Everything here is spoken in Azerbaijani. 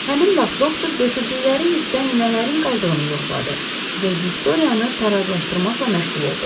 Həmin vaxt doktor götürdükləri yükdən nələrin qaldığını yoxladı və Viktoriyanı tarazlaşdırmaqla məşğul oldu.